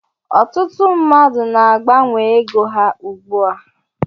Ọtụtụ mmadụ na agbanwe ego ha ugbu a.